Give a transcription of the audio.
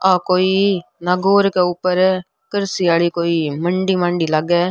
आ कोई नागौर के ऊपर कृषि आली कोई मंडी मंडी लागे है।